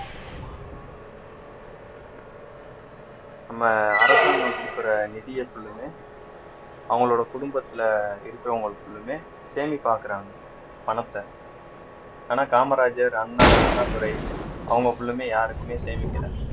நம்ம அரசாங்கம் கொடுக்கிற நிதியை full லுமே அவங்களோட குடும்பத்திலே இருக்கிறவங்களுக்குள்ளுமே சேமிப்பு ஆகுறாங்க பணத்தை ஆனா காமராஜர் அண்ணா அண்ணாதுரை அவங்க full லுமே யாருக்குமே சேமிக்கலை